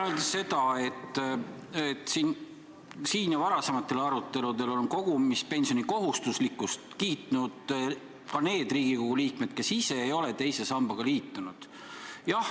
Ma tahan öelda, et siinsetel aruteludel on kogumispensioni kohustuslikkust kiitnud ka need Riigikogu liikmed, kes ise ei ole teise sambaga liitunud.